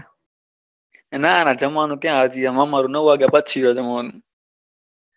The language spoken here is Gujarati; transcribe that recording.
ના ના જમવાનું ક્યાં હજી અમારું નવ વાગ્યા પછી હોય જમવાનું.